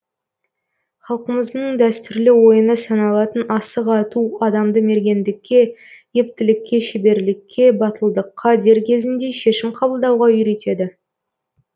халқымыздың дәстүрлі ойыны саналатын асық ату адамды мергендікке ептілікке шеберлікке батылдыққа дер кезінде шешім қабылдауға үйретеді